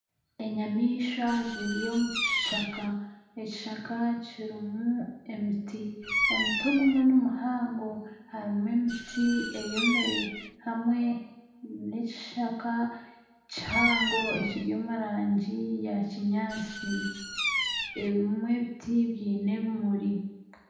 Enyamaishwa ziri omu kishaka, ekishaka kirimu emiti, omuti ogumwe nimuhango harimu emiti eyomire hamwe n'ekishaka kihango ekiri omu rangi ya kinyaatsi, ebimwe ebiti byine ebimuri